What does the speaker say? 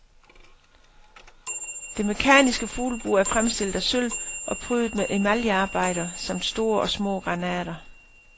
Det mekaniske fuglebur er fremstillet af sølv og prydet med emaljearbejder samt store og små granater.